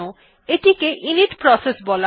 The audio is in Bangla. এইটিকে ইনিট প্রসেস বলা হয়